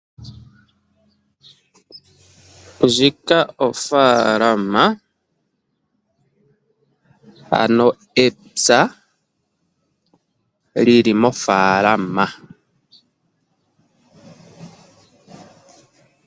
Ndjika ofalama, ano epya lili mofalama.